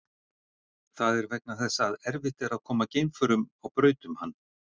Það er vegna þess að erfitt er að koma geimförum á braut um hann.